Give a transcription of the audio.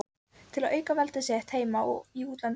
til að auka veldi sitt heima og í útlöndum.